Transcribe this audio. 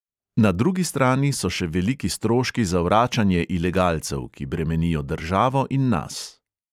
Na drugi strani so še veliki stroški za vračanje ilegalcev, ki bremenijo državo in nas.